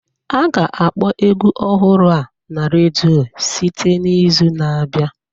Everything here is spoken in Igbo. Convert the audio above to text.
A ga-akpọ egwu ọhụrụ a na redio site n'izu na-abịa